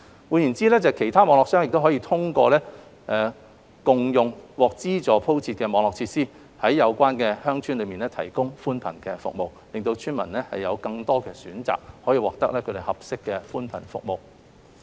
換言之，其他固網商可通過共用獲資助鋪設的網絡設施，在有關鄉村提供寬頻服務，令村民有更多選擇，獲得合適的寬頻服務。